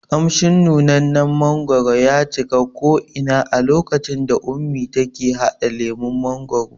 Ƙamshin nunannen mangwaro ya cika ko ina a lokacin da ummi take haɗa lemon mangwaro